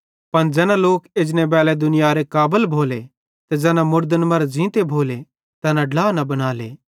पन ज़ैना लोक एजने बैली दुनियारे काबल भोले ते ज़ैना मुड़दन मरां ज़ींते भोले तैना ड्ला न बनाले